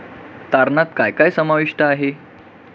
तारणात काय काय समाविष्ट आहे?